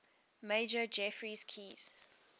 major geoffrey keyes